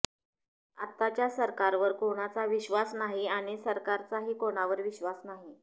आत्ताच्या सरकारवर कोणाचा विश्वास नाही आणि सरकारचाही कोणावर विश्वास नाही